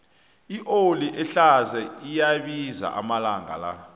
ioli ehlaza iyabiza amalanga la